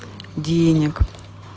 денег